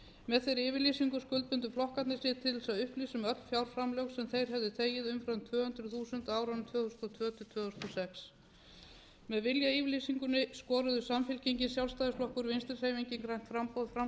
með þeirri yfirlýsingu skuldbundu flokkarnir sig til þess að upplýsa um öll fjárframlög sem þeir hefðu þegið umfram tvö hundruð þúsund á árum tvö þúsund og tvö til tvö þúsund og sex með viljayfirlýsingunni skoruðu samfylkingin sjálfstæðisflokkur og vinstri hreyfingin grænt framboð framsóknarflokkurinn og frjálslyndi flokkurinn